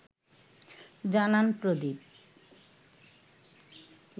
জানান প্রদীপ